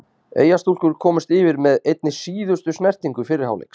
Eyjastúlkur komust yfir með einni síðustu snertingu fyrri hálfleiks.